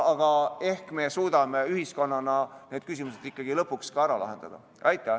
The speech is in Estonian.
Aga ehk me suudame ühiskonnana need küsimused ikkagi lõpuks ka ära lahendada.